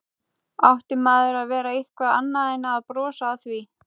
Átti maður að gera eitthvað annað en að brosa að því?